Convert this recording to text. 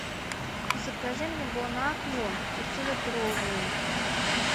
закажи мне бонакву пятилитровую